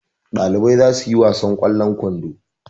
Ɗalibai za su yi wasan ƙwallon kwando.